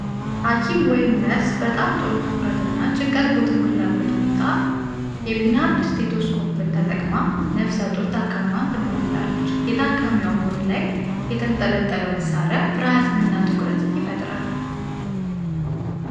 ሐኪም ወይም ነርስ በጣም ጥሩ ትኩረትና ጭንቀት በተሞላበት ሁኔታ የፒናርድ ስቴቶስኮፕን ተጠቅማ ነፍሰ ጡር ታካሚዋን ትመረምራለች። የታካሚዋ ሆድ ላይ የተንጠለጠለው መሣሪያ ፍርሃትንና ትኩረትን ይፈጥራል።